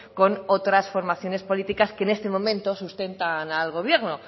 con otras formaciones políticas que en este momento sustentan al gobierno